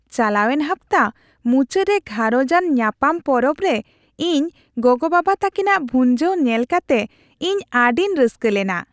ᱪᱟᱞᱟᱣᱮᱱ ᱦᱟᱯᱛᱟ ᱢᱩᱪᱟᱹᱫ ᱨᱮ ᱜᱷᱟᱨᱚᱸᱡᱽ ᱟᱱ ᱧᱟᱯᱟᱢ ᱯᱚᱨᱚᱵ ᱨᱮ ᱤᱧ ᱜᱚᱜᱚᱼᱵᱟᱵᱟ ᱛᱟᱹᱠᱤᱱᱟ ᱵᱷᱩᱡᱟᱹᱣ ᱧᱮᱞ ᱠᱟᱛᱮ ᱤᱧ ᱟᱹᱰᱤᱧ ᱨᱟᱹᱥᱠᱟᱹ ᱞᱮᱱᱟ ᱾